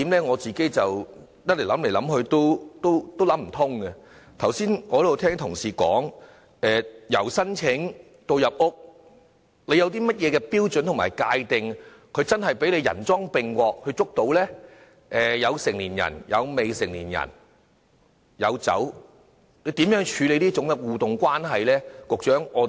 我剛才聽到同事說由申請搜查令到進入住宅搜查，有甚麼標準來界定涉案者真的人贓並獲，可作拘捕呢？當中有成年人、未成年人，亦有酒類，如何處理這種互動關係呢？